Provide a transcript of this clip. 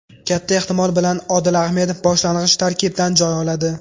Katta ehtimol bilan Odil Ahmedov boshlang‘ich tarkibdan joy oladi.